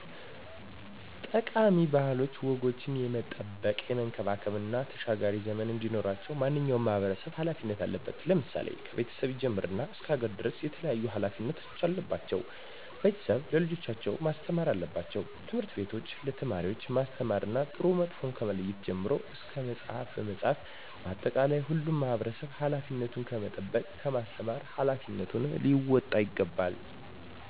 ጠቃሚ ባህላዊ ወጎችን የመጠበቅ፣ የመንከባከብ እና ተሻጋሪ ዘመን እንዲኖራቸው ማንኛውም ማህበረሰብ ሀላፊነት አለበት። ለምሳሌ፦ ከቤተሰብ ይጀምርና እስከ ሀገር ድረስ የተለያዩ ሀላፊነቶች አለባቸው። ቤተሰብ ለልጆቻቸው ማስተማር አለባቸው። ትምህርት ቤቶችም ለተማሪወች ማስተማር ጥሩና መጥፎውን ከመለየት ጀምሮ እስከ በመፅሀፍ መፅሀፍ በአጠቃላይ ሁሉም ማህበረሰብ ሀላፊነቱን ከመጠበቅ ከማስተማር ሀላፊነቱን ሊወጣ ይገባል።